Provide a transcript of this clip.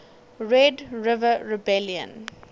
red river rebellion